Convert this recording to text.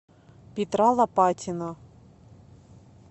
петра лопатина